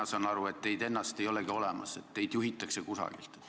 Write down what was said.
Mina saan aru, et teid ennast ei olegi olemas, et teid juhitakse kusagilt.